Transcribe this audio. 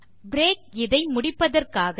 break இதை முடிப்பதற்காக